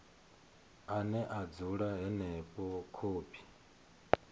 ane a dzula henefho khophi